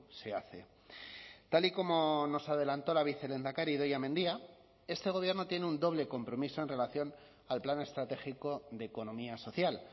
se hace tal y como nos adelantó la vicelehendakari idoia mendia este gobierno tiene un doble compromiso en relación al plan estratégico de economía social